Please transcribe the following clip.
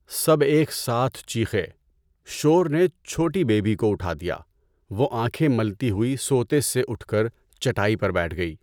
سب ایک ساتھ چیخے۔ شور نے چھوٹی بے بی کو اُٹھا دیا۔ وہ آنکھیں ملتی ہوئی سوتے سے اُٹھ کر چٹائی پر بیٹھ گئی۔